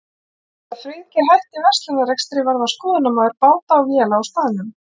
Eftir að Friðgeir hætti verslunarrekstri varð hann skoðunarmaður báta og véla á staðnum.